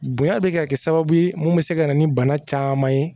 Bonya bɛ ka kɛ sababu ye mun bɛ se ka na ni bana caman ye